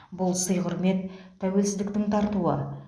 бұл сый құрмет тәуелсіздіктің тартуы